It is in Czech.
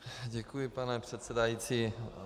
Děkuji, pane předsedající.